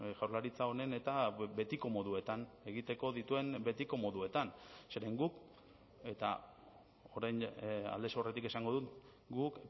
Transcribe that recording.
jaurlaritza honen eta betiko moduetan egiteko dituen betiko moduetan zeren guk eta orain aldez aurretik esango dut guk